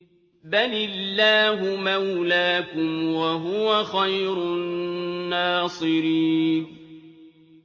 بَلِ اللَّهُ مَوْلَاكُمْ ۖ وَهُوَ خَيْرُ النَّاصِرِينَ